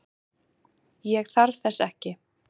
Ég þarf þess ekki.